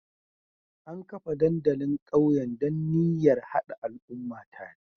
An kafa dandalin ƙauyen da niyyar hada al'umma tare